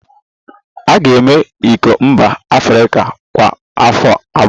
A ga-eme iko mba Afrịka kwa afọ abụọ